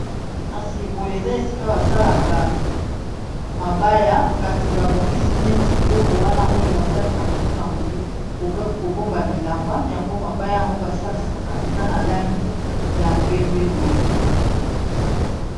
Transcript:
kasi boye eza esika basalaka mabaya kasi babongisi neti eloko wana oyo basalisaka mpona kobomba bilamba yango mabaya yango basalisaka eza na langi ya pembe boye